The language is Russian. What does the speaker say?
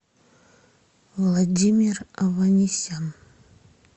владимир аванесян